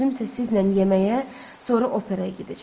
Özümsə sizlə yeməyə, sonra operaya gedəcəm.